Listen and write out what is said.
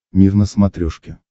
мир на смотрешке